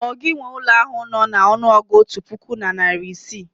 ọ gi nwe ụlọ ahu no na ọnụọgụ otu puku na iri isii?